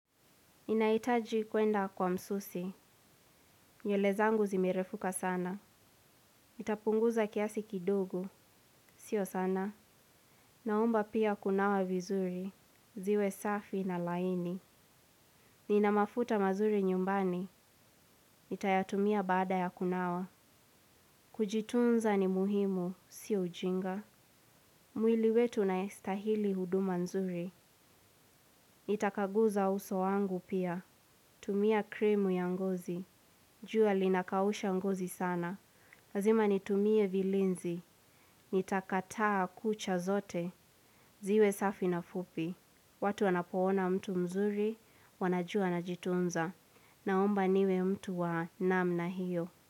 Ninahitaji kuenda kwa msusi. Nywele zangu zimerefuka sana. Itapunguza kiasi kidogo. Sio sana. Naomba pia kunawa vizuri. Ziwe safi na laini. Nina mafuta mazuri nyumbani. Itayatumia bada ya kunawa. Kujitunza ni muhimu. Sio ujinga. Mwili wetu unastahili huduma nzuri. Nitakaguza uso wangu pia. Tumia kremu ya ngozi. Jua linakausha ngozi sana. Lazima nitumie vilinzi. Nitakataa kucha zote. Ziwe safi na fupi. Watu wanapoona mtu mzuri wanajua anajitunza. Naomba niwe mtu wa namna hiyo.